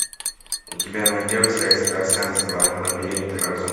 у тебя найдется экстрасенс два лабиринты разума